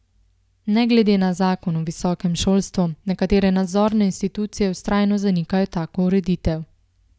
Ne glede na zakon o visokem šolstvu nekatere nadzorne institucije vztrajno zanikajo tako ureditev.